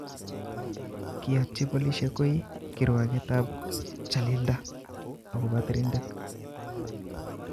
Kiyatchi polisiek koi kirwaget ab chalilda akopo Trindade.